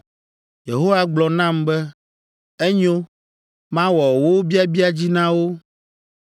Yehowa gblɔ nam be, “Enyo; mawɔ wo biabia dzi na wo.